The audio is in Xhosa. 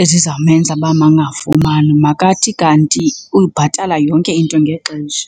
ezizawumenza uba makangafumani. Makathi kanti uyibhatala yonke into ngexesha.